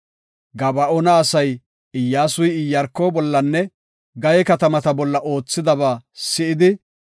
Gaba7oona asay Iyyasuy Iyaarko bollanne Gaye katamaa bolla oothidaba si7idi,